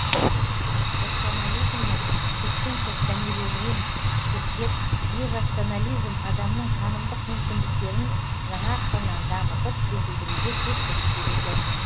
рационализмнің шектен тыс дәмеленуін шектеп иррационализм адамның танымдық мүмкіндіктерін жаңа қырынан дамытып жетілдіруге септігін тигізді